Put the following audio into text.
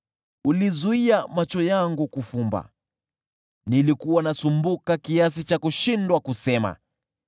Ulizuia macho yangu kufumba; nilikuwa nasumbuka, nikashindwa kusema.